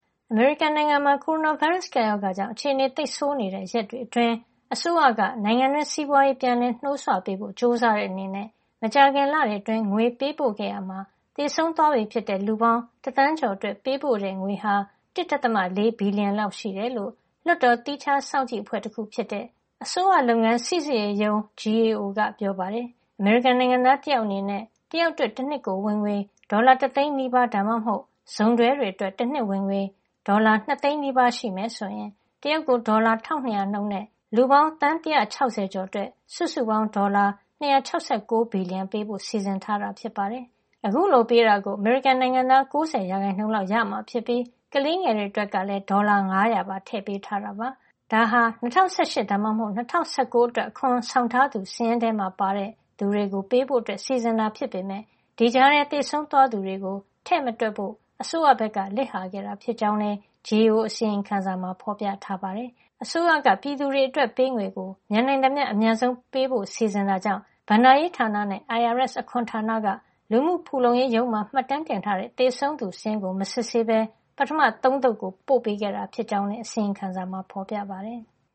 အမေရိကန်နိုင်ငံမှာ ကိုရိုနာဗိုင်းရပ်စ် ကပ်ရောဂါကြောင့် အခြေနေသိပ်ဆိုးနေတဲ့ ရက်တွေအတွင်း အစိုးရက နိုင်ငံတွင်း စီးပွားရေး ပြန်လည်နှိုးဆွပေးဖို့ ကြိုးစားတဲ့ အနေနဲ့ မကြာခင်လတွေ အတွင်း ငွေပေးပို့ ခဲ့ရာမှာ သေဆုံးသွားပြီဖြစ်တဲ့ လူပေါင်း တသန်းကျော် အတွက် ပေးပို့ တဲ့ ငွေဟာ ၁.၄ဘီလျံ လောက် ရှိတယ်လို့ လွှတ်တော်သီးခြားစောင့်ကြည့်အဖွဲ့တခု ဖြစ်တဲ့ အစိုးရလုပ်ငန်း စီစစ်ရေးရုံး GAO (Government Accountability Office) က ပြောပါတယ်။ အမေရိကန်နိုင်ငံသား တယောက် အနေနဲ့ တယောက်အတွက် တနှစ်ကို ဝင်ငွေ ဒေါ်လာ တသိန်းနီးပါး ( ၉၈,၀၀၀) ဒါမှမဟုတ် စုံတွဲ တွေ အတွက် ဝင်ငွေ တနှစ် ဒေါ်လာ ၂ သိန်းနီးပါး (၁၉၈,၀၀၀) ရှိမယ် ဆိုရင် တယောက်ကို ဒေါ်လာ ၁၂၀၀ နှုန်း နဲ့ လူပေါင်း သန်း ၁၆၀ ကျော် အတွက် စုစုပေါင်း ဒေါ်လာ ၂၆၉ ဘီလျံ ပေးဖို့ စီစဉ်ထားတာ ဖြစ်ပါတယ်။ အခုလို ငွေပေးတာကို အမေရိကန်နိုင်ငံသား ၉ ၀ % လောက် ရရှိကြမှာ ဖြစ်ပြီး ကလေးငယ်တွေ အတွက်လည်း ဒေါ်လာ ၅၀၀ ပါ ထည့်ပေးထားတာပါ။ ဒါဟာ ၂၀၁၈ ဒါမှမဟုတ် ၂၀၁၉ အတွက် အခွန်ဆောင်ထားသူ စာရင်းထဲမှာ ပါတဲ့ သူတွေကို ပေးဖို့ စီစဉ်တာ ဖြစ်ပေမယ့် ဒီကြားထဲ သေဆုံးသွားသူတွေကို ထည့်မတွက်ဖို့ အစိုးရဘက်က လစ်ဟာခဲ့တာ ဖြစ်ကြောင်းလည်း GAO အစီရင်ခံစာမှာ ဖေါ်ပြထားပါတယ်။ အစိုးရက ပြည်သူတွေ အတွက်ပေးငွေကို မြန်နိုင်သမျှ အမြန်ဆုံး ပေးဖို့ စီစဉ်တာကြောင့် ဘဏ္ဍာရေးဌာနနဲ့ IRS အခွန်ဌာနက လူမှုဖူလုံရေးရုံးမှာ မှတ်တမ်းထားတဲ့ သေဆုံးသူစာရင်းကို မစစ်ဆေးပဲ ပထမ ၃ သုတ်ကို ပို့ပေးခဲ့တာ ဖြစ်ကြောင်းလည်း အစီရင်ခံစာမှာ ဖေါ်ပြထားပါတယ်။